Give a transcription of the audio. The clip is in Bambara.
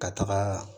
Ka taga